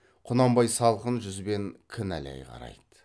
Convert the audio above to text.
құнанбай салқын жүзбен кінәлай қарайды